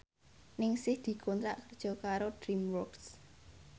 Ningsih dikontrak kerja karo DreamWorks